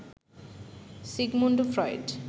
Sigmund Freud